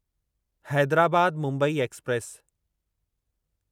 Hyderabad Mumbai express